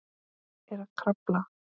Er að krafla.